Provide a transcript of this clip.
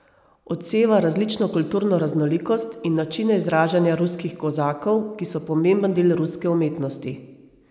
Odseva različno kulturno raznolikost in načine izražanja ruskih kozakov, ki so pomemben del ruske umetnosti.